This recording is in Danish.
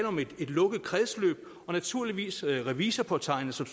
om et lukket kredsløb og naturligvis revisorpåtegnet som